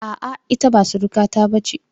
A'a, ita ba surukata ba ce.